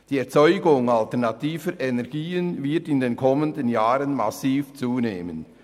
Die Erzeugung alternativer Energien wird in den kommenden Jahren massiv zunehmen.